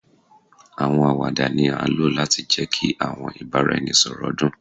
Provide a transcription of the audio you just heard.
Awọn awada ni a lo lati jẹ ki awọn ibaraẹnisọrọ dun